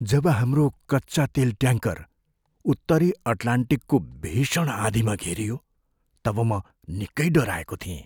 जब हाम्रो कच्चा तेल ट्याङ्कर उत्तरी अटलान्टिकको भीषण आँधीमा घेरियो तब म निकै डराएको थिएँ।